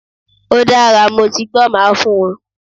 Ódára, motigbọ́, máa fun won